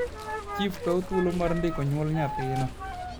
chif kaw thuolo mar ndiko nyuol nyathino